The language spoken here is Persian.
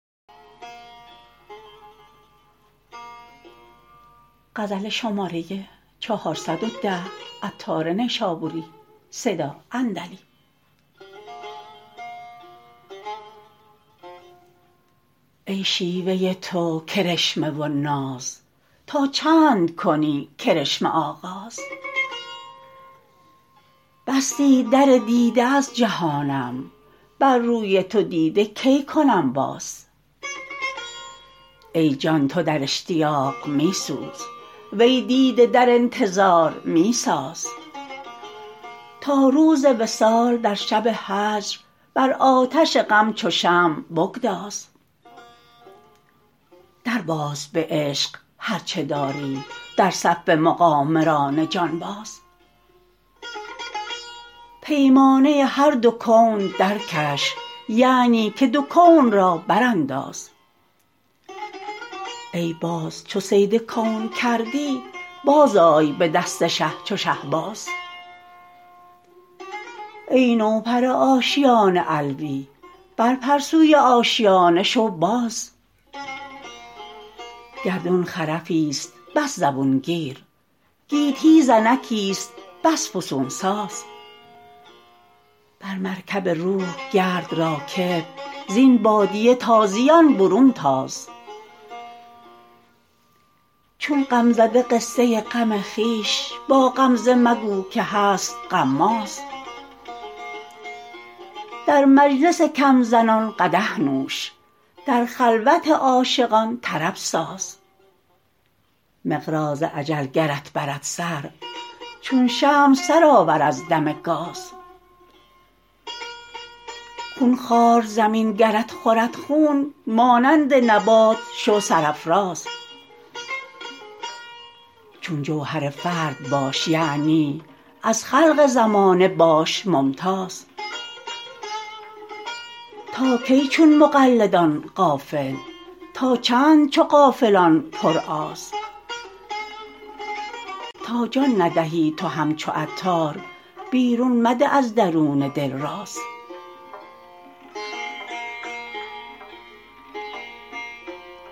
ای شیوه تو کرشمه و ناز تا چند کنی کرشمه آغاز بستی در دیده از جهانم بر روی تو دیده کی کنم باز ای جان تو در اشتیاق می سوز وی دیده در انتظار می ساز تا روز وصال در شب هجر بر آتش غم چو شمع بگداز در باز به عشق هرچه داری در صف مقامران جانباز پیمانه هر دو کون درکش یعنی که دو کون را برانداز ای باز چو صید کون کردی بازآی به دست شه چو شهباز ای نوپر آشیان علوی بر پر سوی آشیانه شو باز گردون خرفی است بس زبون گیر گیتی زنکی است بس فسون ساز بر مرکب روح گرد راکب زین بادیه تازیان برون تاز چون غمزده قصه غم خویش با غمزه مگو که هست غماز در مجلس کم زنان قدح نوش در خلوت عاشقان طرب ساز مقراض اجل گرت برد سر چون شمع سر آور از دم گاز خون خوار زمین گرت خورد خون مانند نبات شو سرافراز چون جوهر فرد باش یعنی از خلق زمانه باش ممتاز تا کی چو مقلدان غافل تا چند چو غافلان پر آز تا جان ندهی تو همچو عطار بیرون مده از درون دل راز